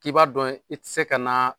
K'i b'a dɔn i tɛ se ka na